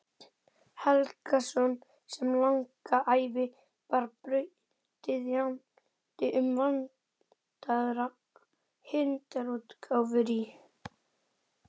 Helgason sem langa ævi var brautryðjandi um vandaðar handritaútgáfur í